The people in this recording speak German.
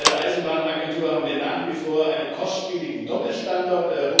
Bei der Eisenbahnagentur haben wir nach wie vor einen kostspieligen Doppelstandard.